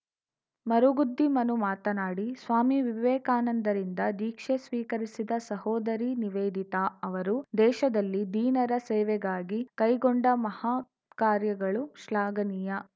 ಮರುಗುದ್ದಿ ಮನು ಮಾತನಾಡಿ ಸ್ವಾಮಿ ವಿವೇಕಾನಂದರಿಂದ ದೀಕ್ಷೆ ಸ್ವೀಕರಿಸಿದ ಸಹೋದರಿ ನಿವೇದಿತಾ ಅವರು ದೇಶದಲ್ಲಿ ದೀನರ ಸೇವೆಗಾಗಿ ಕೈಗೊಂಡ ಮಹತ್ಕಾರ್ಯಗಳು ಶ್ಲಾಘನೀಯ